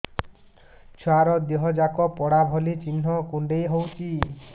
ଛୁଆର ଦିହ ଯାକ ପୋଡା ଭଳି ଚି଼ହ୍ନ କୁଣ୍ଡେଇ ହଉଛି